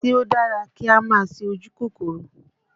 Ṣé ó dára kí á máa ṣe ojú kòkòrò?